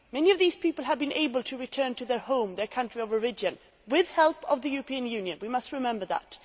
Many of these people have been able to return to their home, their country of origin, with help from the European Union, we must remember that.